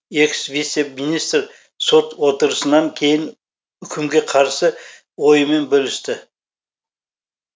экс вице министр сот отырысынан кейін үкімге қарсы ойымен бөлісті